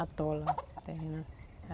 Atola o terreno.